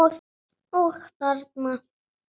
Og þarna?